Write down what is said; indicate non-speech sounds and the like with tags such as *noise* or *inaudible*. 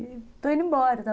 E estou indo embora, *unintelligible*